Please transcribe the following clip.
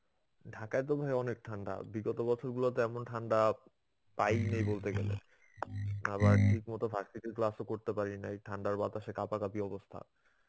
ঢাকায় তো ভাই অনেক ঠান্ডা. বিগত বছরগুলোতে এমন ঠান্ডা পাই নাই বলতে গেলে. আবার ঠিক মতো class ও করতে পারি না. এই ঠান্ডার বাতাসে কাপাকাপি অবস্থা.